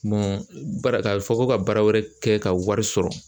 baara ka fɔ ko ka baara wɛrɛ kɛ ka wari sɔrɔ